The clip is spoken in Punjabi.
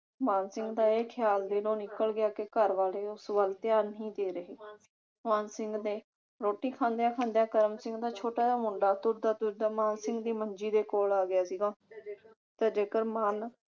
ਮਾਨ ਸਿੰਘ ਦਾ ਇਹ ਖਿਆਲ ਦਿਲੋਂ ਨਿੱਕਲ ਗਿਆ ਕਿ ਘਰ ਵਾਲੇ ਉਸ ਵੱਲ ਧਿਆਨ ਨਹੀਂ ਦੇ ਰਹੇ। ਮਾਨ ਸਿੰਘ ਦੇ ਰੋਟੀ ਖਾਂਦਿਆਂ ਖਾਂਦਿਆਂ ਕਰਮ ਸਿੰਘ ਦਾ ਛੋਟਾ ਜਾ ਮੁੰਡਾ ਤੁਰਦਾ ਤੁਰਦਾ ਮਾਨ ਸਿੰਘ ਦੀ ਮੰਜੀ ਦੇ ਕੋਲ ਆ ਗਿਆ ਸੀਗਾ ਤੇ ਜੇਕਰ ਮਾਨ